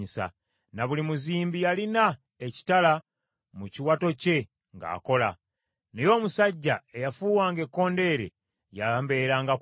na buli muzimbi yalina ekitala mu kiwato kye ng’akola. Naye omusajja eyafuwanga ekkondeere yambeeranga kumpi.